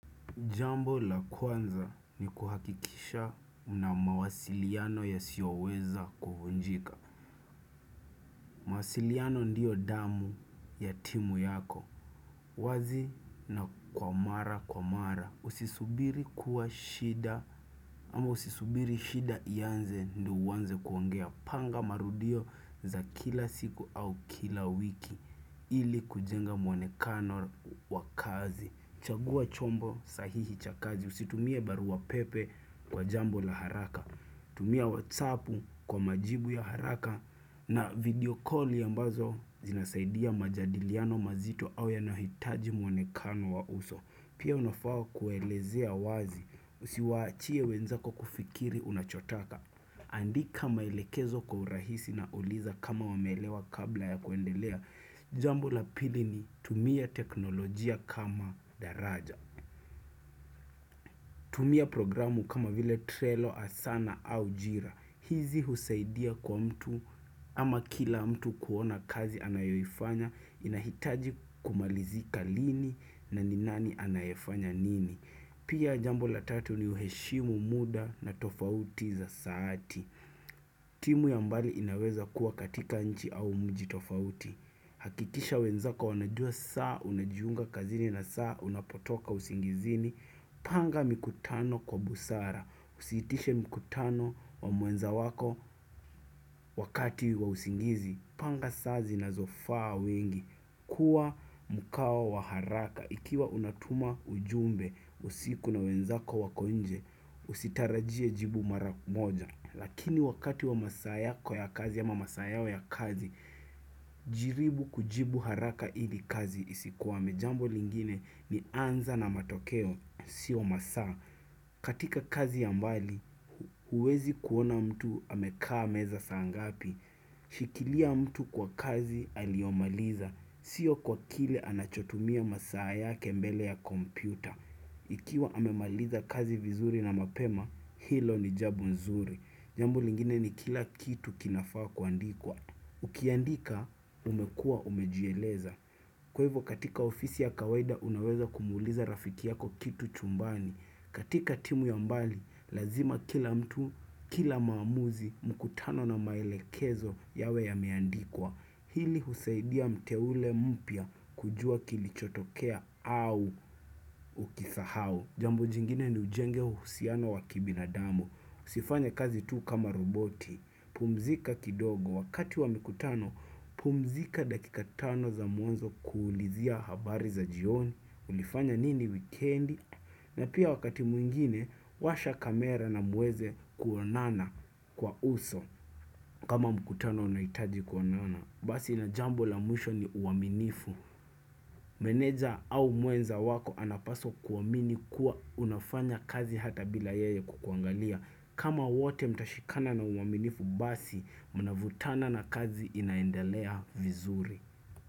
Jambo la kwanza ni kuhakikisha una mawasiliano yasioweza kuvunjika mawasiliano ndiyo damu ya timu yako wazi na kwa mara kwa mara Usisubiri kuwa shida ama usisubiri shida ianze ndio uwanze kuongea Panga marudio za kila siku au kila wiki ili kujenga mwonekano wa kazi Chagua chombo sahihi cha kazi Usitumie barua pepe kwa jambo la haraka, tumia whatsappu kwa majibu ya haraka na video calli ambazo zinasaidia majadiliano mazito au yanaohitaji mwonekano wa uso. Pia unafao kuelezea wazi, usiwaachie wenzako kufikiri unachotaka. Andika maelekezo kwa urahisi na uliza kama wameelewa kabla ya kuendelea. Jambo la pili ni tumia teknolojia kama daraja. Tumia programu kama vile trelo asana au jira. Hizi husaidia kwa mtu ama kila mtu kuona kazi anayoifanya inahitaji kumalizika lini na ni nani anayefanya nini. Pia jambo la tatu ni uheshimu muda na tofauti za saati. Timu ya mbali inaweza kuwa katika nchi au mji tofauti. Hakikisha wenzako wanajua saa unajiunga kazini na saa unapotoka usingizini. Panga mikutano kwa busara. Usiitishe mkutano wa muenza wako wakati wa usingizi. Panga saa zinazofaa wengi. Kua mukao wa haraka. Ikiwa unatuma ujumbe usiku na wenzako wako nje usitarajie jibu mara moja. Lakini wakati wa masaa yako ya kazi yama masaa yao ya kazi, jiribu kujibu haraka ili kazi isikwame jambo lingine ni anza na matokeo, siyo masaa. Katika kazi ya mbali, huwezi kuona mtu amekaa meza saa ngapi. Shikilia mtu kwa kazi aliomaliza, sio kwa kile anachotumia masaa yake mbele ya kompyuta. Ikiwa amemaliza kazi vizuri na mapema, hilo ni jabu nzuri. Jambo lingine ni kila kitu kinafaa kuandikwa. Ukiandika, umekua umejieleza. Kwa hivyo katika ofisi ya kawaida, unaweza kumuuliza rafiki yako kitu chumbani. Katika timu ya mbali, lazima kila mtu, kila maamuzi, mkutano na maelekezo yawe yameandikwa. Hili husaidia mteule mpya kujua kilichotokea au ukisahau. Jambo jingine ni ujenge uhusiana wa kibinadamu. Sifanye kazi tu kama roboti, pumzika kidogo, wakati wa mikutano, pumzika dakika tano za mwanzo kuulizia habari za jioni, ulifanya nini wikendi, na pia wakati mwingine, washa kamera na muweze kuonana kwa uso, kama mkutano unaitaji kuonana. Basi ina jambo la mwisho ni uaminifu Meneja au mwenza wako anapaswa kuamini kuwa unafanya kazi hata bila yeye kukuangalia kama wote mtashikana na uaminifu basi mnavutana na kazi inaendelea vizuri.